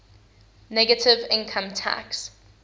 negative income tax